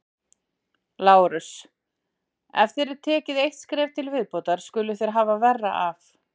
LÁRUS: Ef þér takið eitt skref í viðbót skuluð þér hafa verra af!